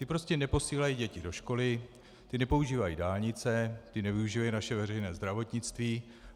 Ti prostě neposílají děti do školy, ti nepoužívají dálnice, ti nevyužívají naše veřejné zdravotnictví.